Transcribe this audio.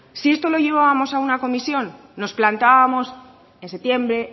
si esto lo llevábamos a una comisión nos plantábamos en septiembre